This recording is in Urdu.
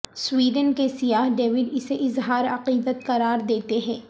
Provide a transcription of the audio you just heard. سویڈن کے سیاح ڈیوڈ اسے اظہار عقیدت قرار دیتے ہیں